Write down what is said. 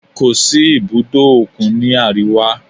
Kò sí ibùdó òkun ní àríwá.